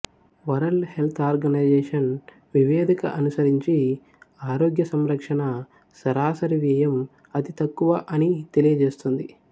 world Health Organization వివేదిక అనుసరించి ఆరోగ్యసంరక్షణ సరాసరి వ్యయం అతితక్కువ అని తెలియజేస్తుంది